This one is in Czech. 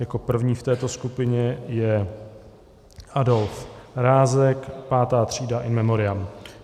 Jako první v této skupině je Adolf Rázek, V. třída, in memoriam.